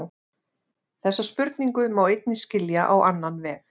Þessa spurningu má einnig skilja á annan veg.